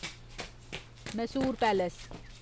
Mysore palace